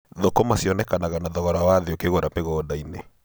Thũkũma cionekanaga na thogora wa thĩ ũkĩgũra mĩgunda-inĩ.